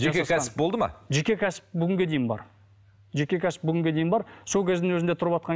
жеке кәсіп болды ма жеке кәсіп бүгінге дейін бар жеке кәсіп бүгінге дейін бар сол кездің өзінде тұрватқан